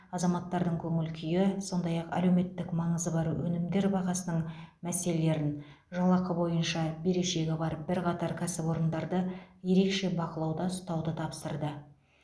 азаматтардың көңіл күйі сондай ақ әлеуметтік маңызы бар өнімдер бағасының мәселелерін жалақы бойынша берешегі бар бірқатар кәсіпорындарды ерекше бақылауда ұстауды тапсырды